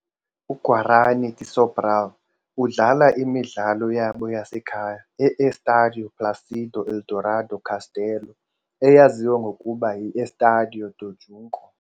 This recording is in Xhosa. UGuarany de Sobral udlala imidlalo yabo yasekhaya e-Estádio Plácido Aderaldo Castelo, eyaziwa ngokuba yi-Estádio do Junco.